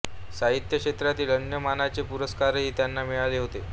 साहित्य क्षेत्रातील अन्य मानाचे पुरस्कारही त्यांना मिळाले होते